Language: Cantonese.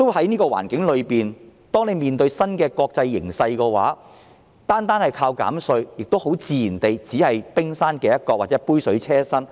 在這個環境中，面對新的國際形勢，單靠減稅，自然只是杯水車薪。